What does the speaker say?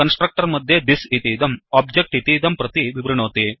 constructor मध्येthisदिस् इतीदं objectओब्जेक्ट् इतीदं प्रति विवृणोति